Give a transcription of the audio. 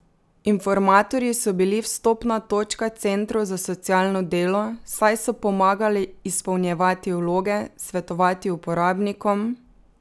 Informatorji so bili vstopna točka centrov za socialno delo, saj so pomagali izpolnjevati vloge, svetovati uporabnikom ...